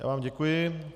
Já vám děkuji.